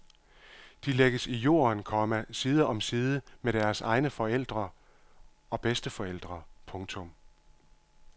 De lægges i jorden, komma side om side med deres egne forældre og bedsteforældre. punktum